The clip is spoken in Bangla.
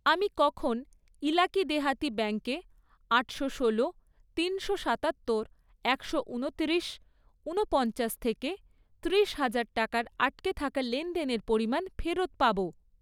আমি কখন ইলাকি দেহাতি ব্যাঙ্কে আটশো ষোলো, তিনশো সাতাত্তর, একশো ঊনত্রিশ, ঊনপঞ্চাশ থেকে ত্রিশ হাজার টাকার আটকে থাকা লেনদেনের পরিমাণ ফেরত পাবো?